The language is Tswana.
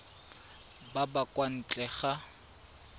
ba ba kwa ntle ga